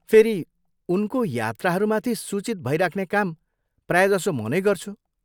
फेरि उनको यात्राहरूमाथि सूचित भइराख्ने काम प्रायजसो म नै गर्छु।